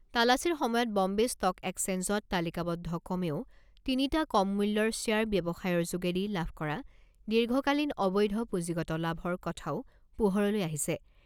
তালাচীৰ সময়ত বম্বে ষ্ট'ক একচেঞ্জত তালিকাবদ্ধ কমেও তিনিটা কম মূল্যৰ শ্বেয়াৰ ব্যৱসায়ৰ যোগেদি লাভ কৰা দীৰ্ঘকালীন অবৈধ পুঁজিগত লাভৰ কথাও পোহৰলৈ আহিছে।